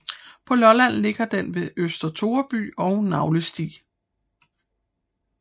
På Lolland ligger den ved Øster Toreby og Nagelsti